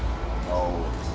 á